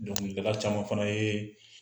Dɔnkilidala caman fana yee